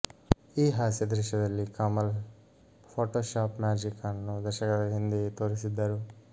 ಈ ಹಾಸ್ಯ ದೃಶ್ಯದಲ್ಲಿ ಕಮಲ್ ಫೋಟೋಶಾಪ್ ಮ್ಯಾಜಿಕ್ ಅನ್ನು ದಶಕದ ಹಿಂದೆಯೇ ತೋರಿಸಿದ್ದರು